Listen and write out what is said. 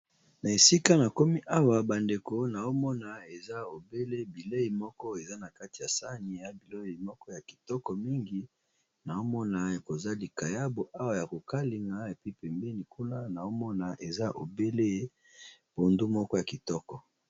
Na esika na komi awa bandeko na omona eza ebele bilei moko eza na kati ya sani ya bilei moko ya kitoko mingi, naomona ekoza likayabo awa ya kokalinga epi pembeni kuna naomona eza ebele pondu moko ya kitoko.